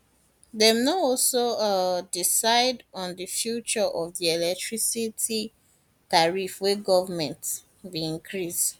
dem no also um decide on di future of di electricity tariff wey goment bin increase